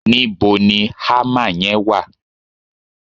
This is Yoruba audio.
níbo ni hammer yen wa